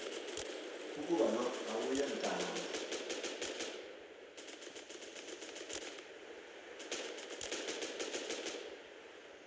ukuba lo awuyontanga